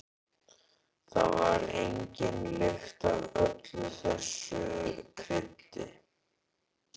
Það var engin lykt af öllu þessu kryddi.